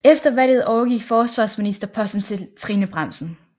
Efter valget overgik forsvarsministerposten til Trine Bramsen